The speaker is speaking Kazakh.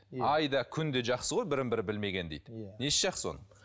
ай да күн де жақсы ғой бірін бірі білмеген дейді иә несі жақсы оның